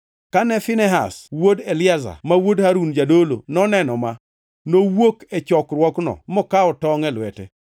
Kane Finehas wuod Eliazar, ma wuod Harun jadolo, noneno ma, nowuok e chokruokno, mokawo tongʼ e lwete,